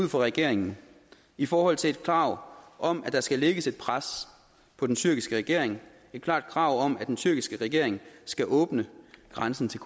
regeringen i forhold til et krav om at der skal lægges et pres på den tyrkiske regering et klart krav om at den tyrkiske regering skal åbne grænsen til